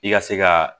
I ka se ka